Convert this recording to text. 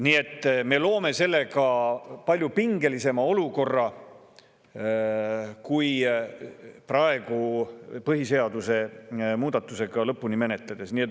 Nii et me loome sellega palju pingelisema olukorra kui põhiseaduse muudatust praegu lõpuni menetledes.